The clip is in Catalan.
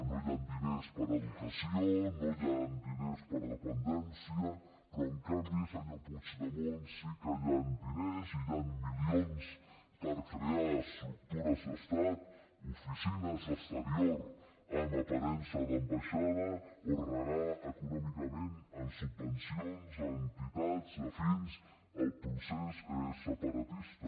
no hi han diners per a educació no hi han diners per a dependència però en canvi senyor puigdemont sí que hi han diners i hi han milions per crear estructures d’estat oficines d’exterior amb aparença d’ambaixada o regar econòmicament amb subvencions entitats afins al procés separatista